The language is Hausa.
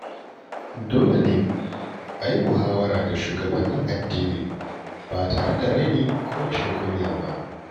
Dole ne a yi muhawara da shugabannin addini ba tare da raini ko rashin kunya ba.